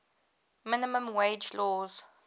minimum wage laws